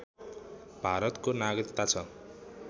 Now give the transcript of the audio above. भारतको नागरिकता छ